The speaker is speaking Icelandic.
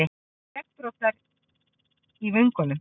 Skeggbroddar í vöngunum.